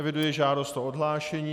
Eviduji žádost o odhlášení.